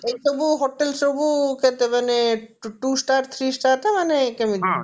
hotel ସବୁ କେତେ ମାନେ two star three star ନା ମାନେ କେମିତି